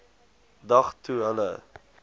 dag toe hulle